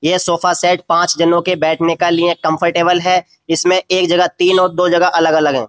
यह sofa set पांच जनों के बैठने का लिए कम्फ़र्टेबल है। इसमें एक जगह तीन और दो जगह अलग-अलग है।